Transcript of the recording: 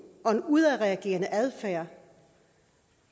og en udadreagerende adfærd